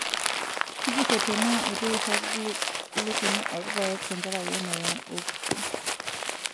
Tujurro tenaa eitu eirag lukuny oolpayek tenkaraki emoyian olkurto.